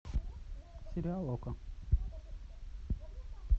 сериал окко